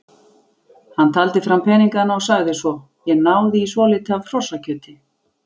Hann taldi fram peningana og sagði svo: Ég náði í svolítið af hrossakjöti.